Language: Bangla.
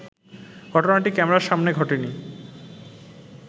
ঘটনাটি ক্যামেরার সামনে ঘটেনি